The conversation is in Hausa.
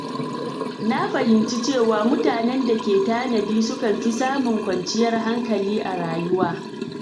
Na fahimci cewa mutanen da ke tanadi sukan fi samun kwanciyar hankali a rayuwa.